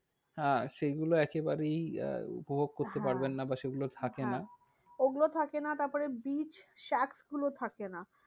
আহ সেগুলো একেবারেই আহ উপভোগ করতে পারবেন হ্যাঁ না বা সেগুলো থাকে হ্যাঁ না। ওগুলো থাকে না, তারপরে beach গুলো থাকে না।